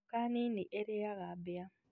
Nyoka nini irĩaga mbĩa